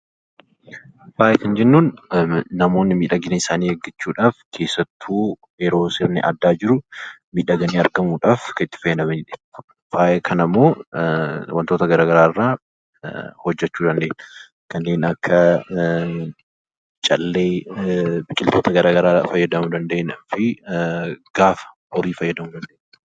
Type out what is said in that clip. faaya kan jennuun namoonni miidhagina isaanii eeggachuudhaaf keessattuu yeroo sirni addaa jiru miidhaganii argamuudhaaf kan itti fayyadamanidha. Faaya kanammoo wantoota garaagaraa irraa hojjachuu dandeenya. Kanneen akka callee biqiltoota garaagaraa fayyadamuu fayyadamuu fi gaafa horii fayyadamuu dandeenya.